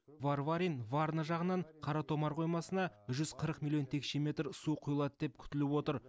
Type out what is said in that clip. варварин варна жағынан қаратомар қоймасына жүз қырық миллион текше метр су құйылады деп күтіліп отыр